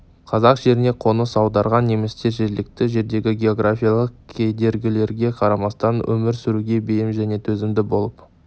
қазақ жеріне қоныс аударған немістер жергілікті жердегі географиялық кедергілерге қарамастан өмір сүруге бейім және төзімді болып